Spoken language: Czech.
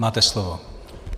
Máte slovo.